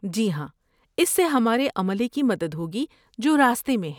جی ہاں، اس سے ہمارے عملے کی مدد ہو گی جو راستے میں ہیں۔